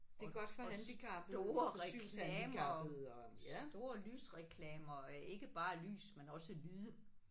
Og og store reklamer store lysreklamer ikke bare lys men også lyde